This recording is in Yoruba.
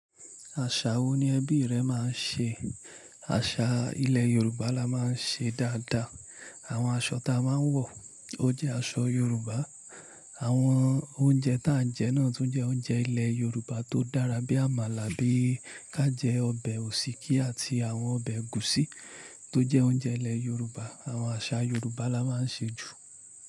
Àṣà wo ni ẹbí rẹ máa ń ṣe? Àṣà ilẹ̀ Yorùbá la máa ń ṣe dáadáa. Àwọn aṣọ táa máa ń wọ, ó jẹ́ aṣọ Yorùbá. Àwọn oúnjẹ táa ń jẹ náà tún jẹ́ oúnjẹ ilẹ̀ Yorùbá tó dára bí Àmàlà bí ká jẹ ọbẹ̀ òsíkí àti àwọn ọbẹ̀ ẹgúsí tó jẹ́ oúnjẹ ilẹ̀ Yorùbá. Àwọn àṣà Yorùbá la máa ń ṣe jù.